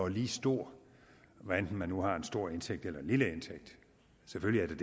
lige stor hvad enten man har en stor indtægt eller en lille indtægt selvfølgelig